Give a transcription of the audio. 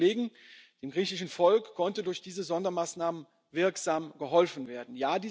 Umwelt und Tourismus. Kolleginnen und Kollegen, dem griechischen Volk konnte durch diese Sondermaßnahmen